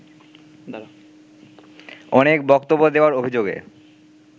অনেক বক্তব্য দেওয়ার অভিযোগে